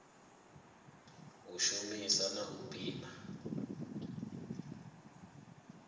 u shumisa na u pima